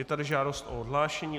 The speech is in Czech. Je tady žádost o odhlášení.